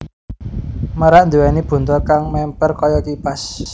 Merak nduwèni buntut kang mèmper kaya kipas